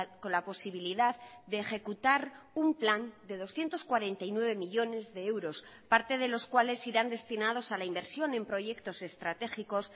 con la posibilidad de ejecutar un plan de doscientos cuarenta y nueve millónes de euros parte de los cuales irán destinados a la inversión en proyectos estratégicos